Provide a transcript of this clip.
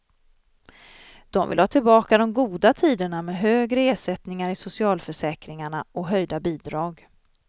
De vill ha tillbaka de goda tiderna med högre ersättningar i socialförsäkringarna och höjda bidrag.